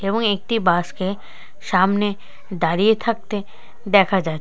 এবং একটি বাস কে সামনে দাঁড়িয়ে থাকতে দেখা যা--